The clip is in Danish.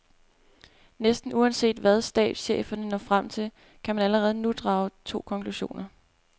Næsten uanset hvad stabscheferne når frem til, kan man allerede nu drage to konklusioner.